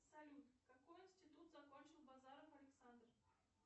салют какой институт закончил базаров александр